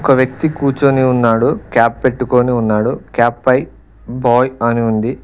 ఒక వ్యక్తి కూర్చొని ఉన్నాడు క్యాప్ పెట్టుకొని ఉన్నాడు క్యాప్ పై బాయ్ అని ఉంది.